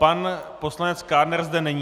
Pan poslanec Kádner zde není.